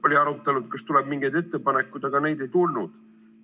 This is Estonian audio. Oli arutelu ja küsiti, kas tuleb mingeid ettepanekuid, aga neid ei tulnud.